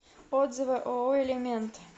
отзывы ооо элемент